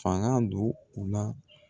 Fanga don u la.